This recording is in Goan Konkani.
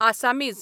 आसामीज